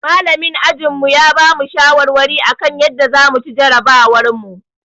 Malamin ajinmu ya bamu shawarwari akan yadda zamu ci jarabawarmu